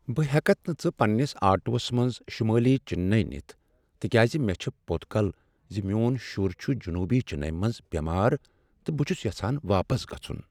بہٕ ہیکتھ نہ ژٕ پنَنسِ آٹوس منٛز شمٲلی چنیے نتھ تکیاز مےٚ چھےٚ پوٚت کل ز میٚون شر چھ جنوٗبی چننے منٛز بیمار تہٕ بہٕ چھس یژھان واپس گژھن۔